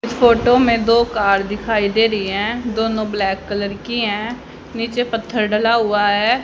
इस फोटो में दो कार दिखाई दे रही है। दोनों ब्लैक कलर की है। नीचे पत्थर डला हुआ है।